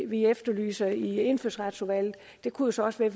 vi efterlyser i indfødsretsudvalget det kunne så også være